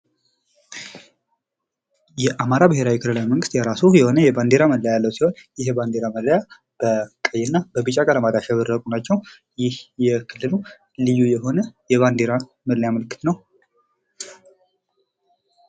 የአማራ ብሔራዊ ክልላዊ መንግስት የራሱ የሆነ የባንዲራ መለያ ያለው ሲሆን ይህ ባንዲራ መለያ በቀይና በቢጫ ቀለማት ያሸበረቁ ናቸው ይህ የክልሉ ልዩ የሆነ የባንዲራ መለያ ምልክት ነው ።